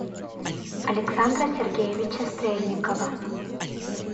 александра сергеевича стрельникова